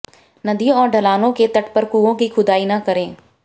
नदियों और ढलानों के तट पर कुओं की खुदाई न करें